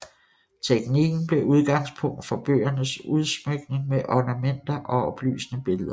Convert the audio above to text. Teknikken blev udgangspunkt for bøgernes udsmykning med ornamenter og oplysende billeder